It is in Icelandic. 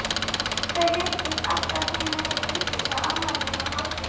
En hvar eygir hann möguleika til frekara aðhalds?